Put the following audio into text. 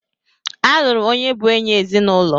A lụrụ onye bụ enyị ezinụlọ.